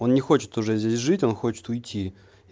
он не хочет уже здесь жить он хочет уйти